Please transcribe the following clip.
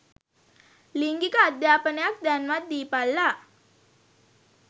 ලිංගික අධාපනයක් දැන්වත් දීපල්ලා.